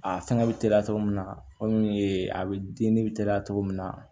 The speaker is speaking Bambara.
A fɛngɛ bɛ teliya cogo min na kɔmi e bɛ ne bɛ teliya cogo min na